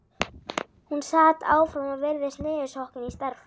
Hún sat áfram og virtist niðursokkin í stærðfræðina.